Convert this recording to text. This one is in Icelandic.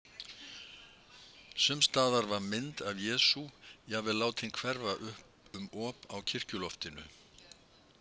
Sums staðar var mynd af Jesú jafnvel látin hverfa upp um op á kirkjuloftinu.